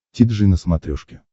ти джи на смотрешке